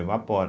Evapora.